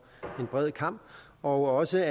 en bred kam og også